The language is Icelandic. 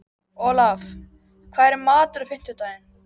Olaf, hvað er í matinn á fimmtudaginn?